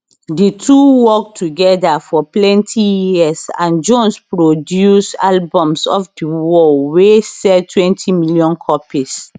di two work togeda for plenty years and jones produce albums off di wall wey selltwentymillion copies